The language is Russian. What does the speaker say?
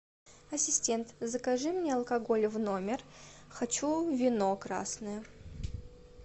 ассистент закажи мне алкоголь в номер хочу вино красное